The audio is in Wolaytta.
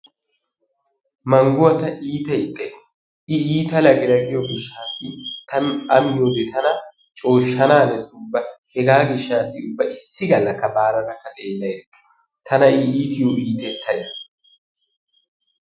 Manguwaa ta iita ixxays. i iitta laqqi laqqiyo gishshaasa. ta a miyoode tana cooshshanaanees ubba . Hegaa gishshaassi ubba issi galaka baaradakka xeella erikke tana i iitiyo iitettay.